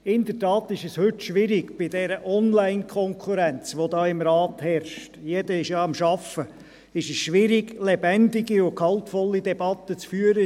In der Tat ist es heute schwierig, bei dieser Online-Konkurrenz, die hier im Rat herrscht – jedermann arbeitet nämlich –, lebendige und gehaltvolle Debatten zu führen;